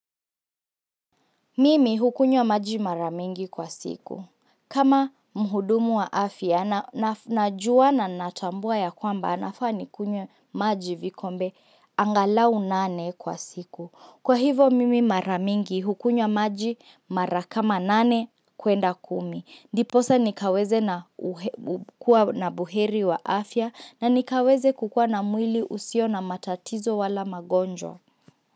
Mimi hukunywa maji mara mingi kwa siku. Kama muhudumu wa afya, najua na natambua ya kwamba anafuwa nikunywe maji vikombe angalau nane kwa siku. Kwa hivo mimi mara mingi hukunyo maji mara kama nane kuenda kumi. Ndiposa nikaweze na buheri wa afya na nikaweze kukua na mwili usio na matatizo wala magonjwa.